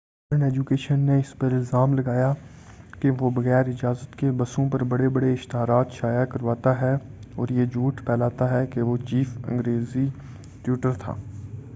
modern education نے اس پر الزام لگایا کہ وہ بغیر اجازت کے بسوں پر بڑے بڑے اشتہارات شائع کرواتا ہے اور یہ جھوٹ پھیلاتا ہے کہ وہ چیف انگریزی ٹیوٹر تھا